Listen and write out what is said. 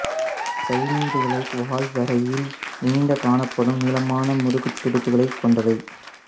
சயீனைடுகள் வால் வரையில் நீண்டு காணப்படும் நீளமான முதுகுத் துடுப்புக்களைக் கொண்டவை